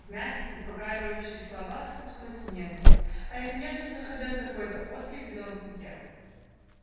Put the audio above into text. в мягких успокаивающих словах слышалась нежность а эта нежность находила какой то отклик в белом клыке